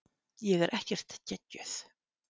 Ég er ekkert geggjuð.